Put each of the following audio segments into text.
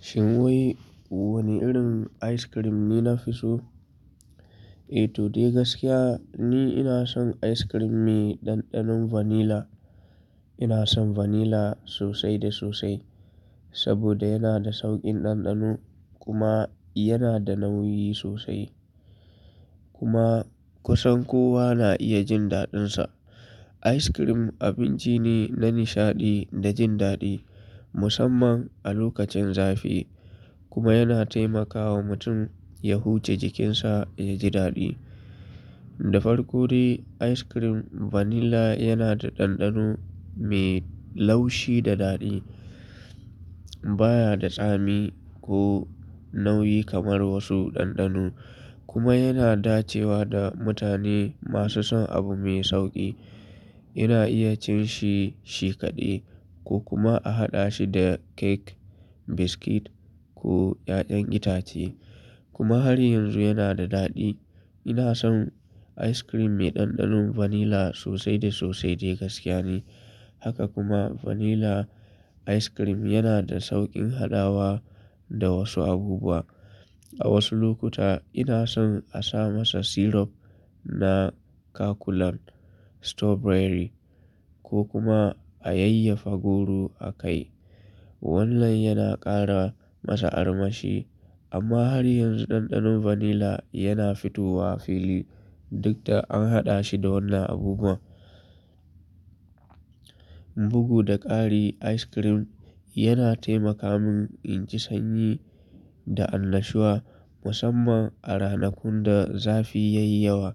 Shin wai wane irin ice cream ne na fi so? Eh to dai gaskiya ni ina son ice cream mai ɗanɗanon vanilla. Ina son vanilla sosai da sosai saboda yana da sauƙin ɗanɗano kuma yana da nauyi sosai. Kuma kusan kowa na iya jin daɗinsa. Ice cream abinci ne na nishaɗi da jin daɗi musamman a lokacin zafi kuma yana taimakawa mutum ya huce jikinsa ya ji daɗi. Da farko dai ice cream vanilla yana da ɗanɗano mai laushi da daɗi. Ba ya da tsami ko nauyi kamar wasu ɗanɗano kuma yana dacewa da mutane masu son abu mai sauƙi. Ina iya cin shi sheƙaɗe ko kuma a haɗa shi da cake, biscuit ko ya'yan itace. Kuma har yanzu yana da daɗi. Ina son ice cream mai ɗanɗanon vanilla sosai da sosai dai gaskiya ne. Haka kuma vanilla ice cream yana da sauƙin hadawa da wasu abubuwa. A wasu lokuta ina son a sa masa syrup na kakelan, strawberry ko kuma a yayyafa goro a kai. Wannan yana ƙara masa armashi. Amma har yanzu ɗanɗanon vanilla yana fitowa fili duk da an haɗa shi da wannan abubuwa. Bugu da ƙari ice cream yana taimaka min in ƙi sanyi da annashuwa musamman a ranakun da zafi ya yi yawa.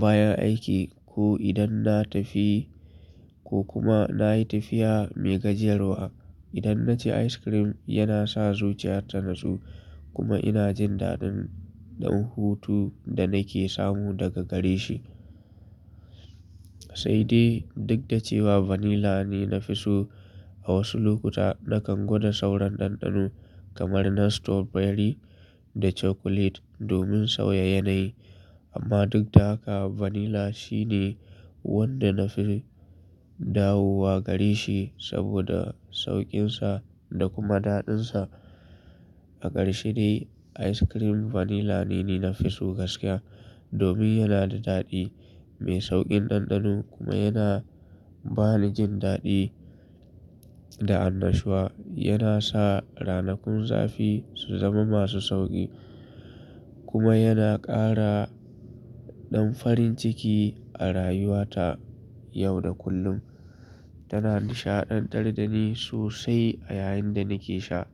Bayan aiki ko idan na tafi ko kuma na yi tafiya mai gajiyarwa, idan na ci ice cream yana sa zuciyarta natsu kuma ina jin daɗin ɗan hutu da nake samu daga gare shi. Sai dai duk da cewa vanilla ne na fi so a wasu lokuta nakan gwada sauran ɗanɗano kamar na strawberry da chocolate domin sauya yanayi. Amma duk da haka vanilla shi ne wanda nafi dawowa gare shi saboda sauƙinsa da kuma daɗinsa. A ƙarshe dai ice cream vanilla ne ni na fi so gaskiya domin yana da daɗi, mai sauƙin ɗanɗano kuma yana ba ni jin daɗi da annashuwa. Yana sa ranakun zafi su zama masu sauƙi kuma yana ƙara ɗan farin ciki a rayuwata yau da kullum. Tana nishaɗantar da ni sosai a yayin da nake sha.